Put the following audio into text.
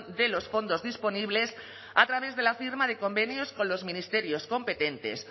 de los fondos disponibles a través de la firma de convenios con los ministerios competentes